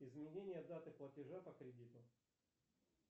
изменение даты платежа по кредиту